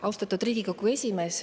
Austatud Riigikogu esimees!